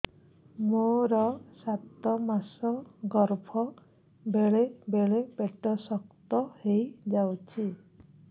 ମୋର ସାତ ମାସ ଗର୍ଭ ବେଳେ ବେଳେ ପେଟ ଶକ୍ତ ହେଇଯାଉଛି